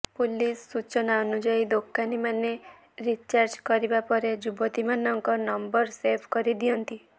police ସୂଚନା ଅନୁଯାୟୀ ଦୋକାନୀ ମାନେ ରିଚାର୍ଜ କରିବା ପରେ ଯୁବତୀମାନଙ୍କ ନମ୍ବର ସେଭ୍ କରି ଦିଅନ୍ତି